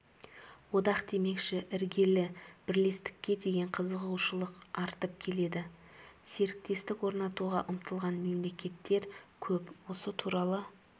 одақ демекші іргелі бірлестікке деген қызығушылық артып келеді серіктестік орнатуға ұмтылған мемлекеттер көп осы туралы